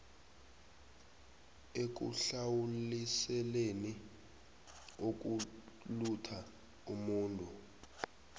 ekuhlawuliseleni ukulutha umuntu